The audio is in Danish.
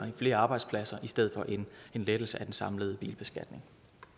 i flere arbejdspladser i stedet for en lettelse af den samlede bilbeskatning